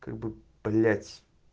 как бы блять